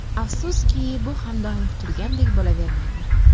Afsuski, bu ham doim kutilganidek bo‘lavermaydi.